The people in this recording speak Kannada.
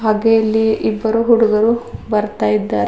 ಹಾಗೆ ಇಲ್ಲಿ ಇಬ್ಬರು ಹುಡುಗರು ಬರ್ತಾಯಿದ್ದಾರೆ.